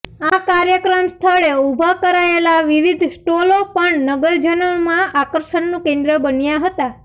આ કાર્યક્રમ સ્થળે ઉભા કરાયેલા વિવિધ સ્ટોલો પણ નગરજનોમાં આકર્ષણનું કેન્દ્ર બન્યા હતા